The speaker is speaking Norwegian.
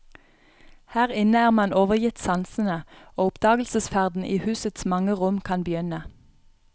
Her inne er man overgitt sansene, og oppdagelsesferden i husets mange rom kan begynne.